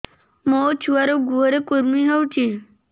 ମୋ ଛୁଆର୍ ଗୁହରେ କୁର୍ମି ହଉଚି